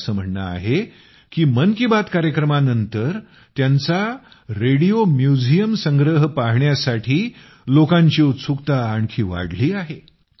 त्यांचे असं म्हणणं आहे की मन की बात कार्यक्रमानंतर त्यांचा रेडिओ म्युझियम संग्रह पाहण्यासाठी लोकांची उत्सुकता आणखी वाढली आहे